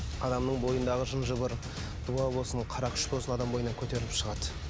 адамның бойындағы жын жыбыр дуа болсын қара күш болсын адамның бойынан көтеріліп шығады